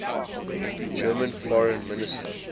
german foreign minister